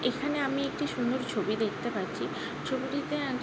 এইখানে আমি একটি সুন্দর ছবি দেখতে পারছি। ছবিটিতে --